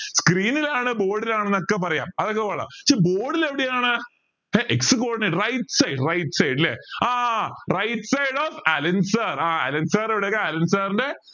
screen ലാണ് board ലാണ് എന്നൊക്കെ പറയാം അതൊക്കെ പോട്ടെ പക്ഷെ board ൽ എവിടെയാണ് ഏർ x coordinate right side right side ലെ ആ right side of Allen sir ആ അലെൻ sir എവിടെയാ അലെൻ sir ൻ്റെ